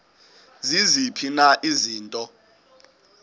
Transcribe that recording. ziziphi na izinto